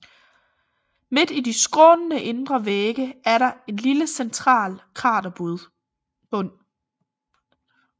Midt i de skrånende indre vægge er der en lille central kraterbund